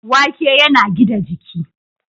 Wake yana gida jiki.